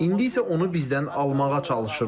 İndi isə onu bizdən almağa çalışırlar.